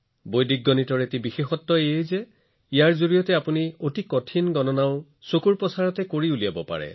বৈদিক গণিতৰ আটাইতকৈ বিশেষ কথাটো হল যে ইয়াৰ জৰিয়তে আপুনি চকুৰ পলকতে মনৰ ভিতৰতে আটাইতকৈ কঠিন গণনা কৰিব পাৰে